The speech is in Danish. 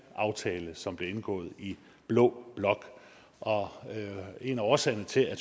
aftale som blev indgået i blå blok og en af årsagerne til at